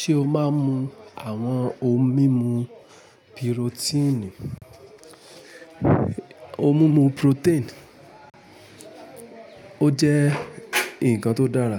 Ṣé o máa ń mu àwọn ohun mímu pirotíìnì? Ohun mímu protein ó jẹ́ ǹkan tó dára,